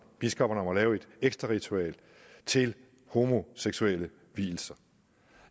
biskopperne om et ekstra ritual til homoseksuelle vielser